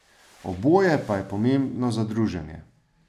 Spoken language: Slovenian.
Oboje pa je pomembno za druženje.